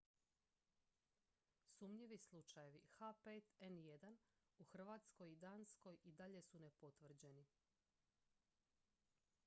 sumnjivi slučajevi h5n1 u hrvatskoj i danskoj i dalje su nepotvrđeni